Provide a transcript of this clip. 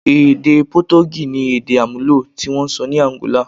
Èdè Potogí ni èdè àmúlò tí wọ́n ń sọ ní Àǹgólà.